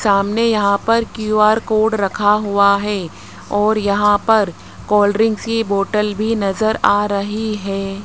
सामने यहाँ पर क्यू_आर कोड रखा हुआ हैं और यहाँ पर कोल्ड्रिंक्स कि बॉटल भी नजर आ रही हैं।